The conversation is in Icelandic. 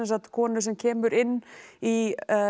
konu sem kemur inn í